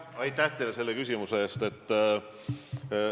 Aitäh teile selle küsimuse eest!